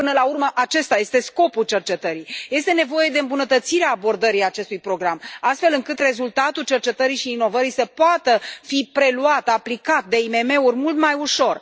Până la urmă, acesta este scopul cercetării. Este nevoie de îmbunătățirea abordării acestui program, astfel încât rezultatul cercetării și inovării să poată fi preluat, aplicat de IMM uri mult mai ușor.